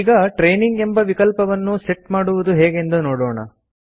ಈಗ ಟ್ರೇನಿಂಗ್ ಎಂಬ ವಿಕಲ್ಪವನ್ನು ಸೆಟ್ ಮಾಡುವುದು ಹೇಗೆಂದು ನೋಡೋಣ